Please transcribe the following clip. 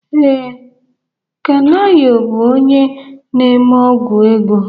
Ee, Kanayo bụ onye na-eme ọ́gwụ̀ ego.